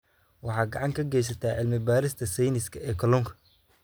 Waxaad gacan ka geysataa cilmi-baarista sayniska ee kalluunka.